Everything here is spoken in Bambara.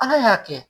Ala y'a kɛ